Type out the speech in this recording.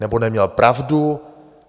Nebo neměl pravdu?